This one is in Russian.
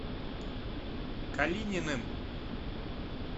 калининым